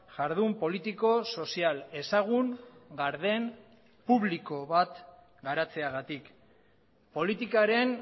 jardun politiko sozial ezagun garden publiko bat garatzeagatik politikaren